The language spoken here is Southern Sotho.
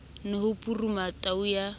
ne ho puruma tau ya